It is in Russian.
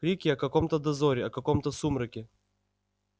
крики о каком-то дозоре о какомто сумраке